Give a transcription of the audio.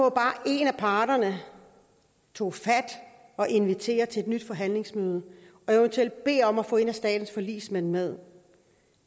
at bare en af parterne tog fat og inviterede til et nyt forhandlingsmøde og eventuelt beder om at få en af statens forligsmænd med